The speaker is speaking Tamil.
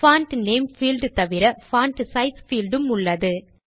பான்ட் நேம் பீல்ட் தவிர பான்ட் சைஸ் பீல்ட் உம் உள்ளது